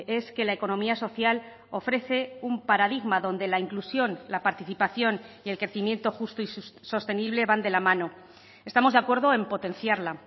es que la economía social ofrece un paradigma donde la inclusión la participación y el crecimiento justo y sostenible van de la mano estamos de acuerdo en potenciarla